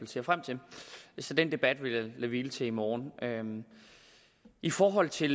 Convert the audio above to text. ser frem til så den debat vil jeg lade hvile til morgen i forhold til